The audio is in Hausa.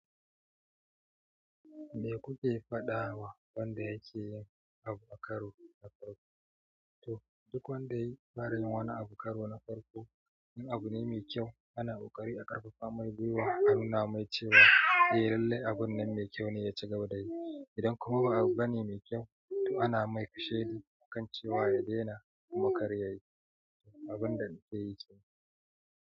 Me kuke faɗa wa wanda yake yin abu a karo na farko? To duk wanda ya fara yin wani abu a karo na farko, in abune mai ƙyau ana ƙoƙari a ƙarfafa mai gwiwa a nuna mai cewa eh lallai abun nan mai ƙyau ne yaci gaba dayi. Idan kuma ba abu bane mai ƙyau, to ana mai kashedi akan cewa ya daina kuma kar yayi abunda zaiyi kenan.